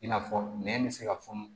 I n'a fɔ nɛn bɛ se ka fɔ